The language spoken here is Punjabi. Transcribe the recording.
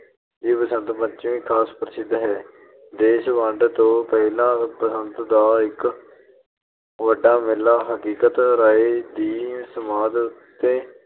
ਦੀ ਬਸੰਤ ਪੰਚਮੀ ਖਾਸ ਪ੍ਰਸਿੱਧ ਹੈ। ਦੇਸ ਵੰਡ ਤੋਂ ਪਹਿਲਾਂ ਬਸੰਤ ਦਾ ਇੱਕ ਵੱਡਾ ਮੇਲਾ ਹਕੀਕਤ ਰਾਇ ਦੀ ਸਮਾਧ ਉੱਤੇ